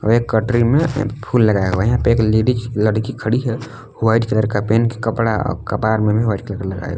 एक कटरी में फूल लगाया हुआ है यहां पे एक लेडिस लड़की खड़ी है व्हाइट कलर के पहन के कपड़ा अ कपार में भी व्हाइट कलर का लगाए हुए--